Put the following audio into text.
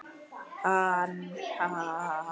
Hann: Ha ha ha.